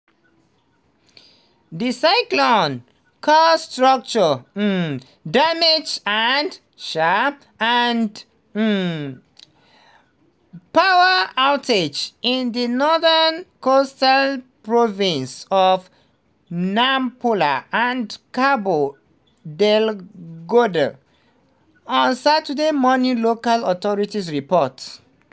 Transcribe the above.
di cyclone cause structural um damage and um and um power outages in di northern coastal provinces of nampula and cabo delgado on saturday morning local authorities report.